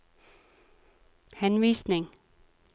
henvisning